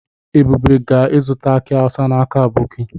Ebube ga-azuta aki awusa n'aka aboki.